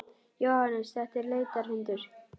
Jóhannes: Þetta er leitarhundur?